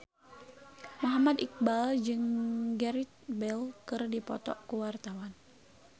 Muhammad Iqbal jeung Gareth Bale keur dipoto ku wartawan